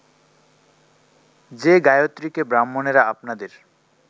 যে গায়ত্রীকে ব্রাহ্মণেরা আপনাদের